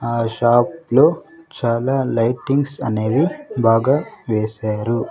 ఆ షాప్ లో చాలా లైటింగ్స్ అనేవి బాగా వేశారు.